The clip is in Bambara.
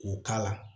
K'o k'a la